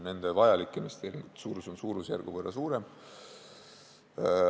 Nende investeeringute suurus on suurusjärgu võrra suurem.